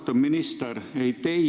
Austatud minister!